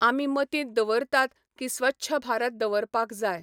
आमी मतींत दवरतात की स्वच्छ भारत दवरपाक जाय.